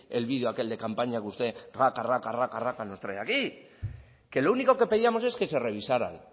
el vídeo aquel de campaña que usted raca raca raca nos trae aquí que lo único que pedíamos es que se revisaran